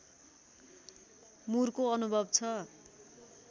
मुरको अनुभव छ